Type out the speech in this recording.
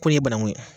Ko in ye bananku ye